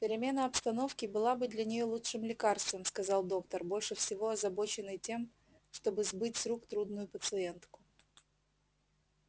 перемена обстановки была бы для нее лучшим лекарством сказал доктор больше всего озабоченный тем чтобы сбыть с рук трудную пациентку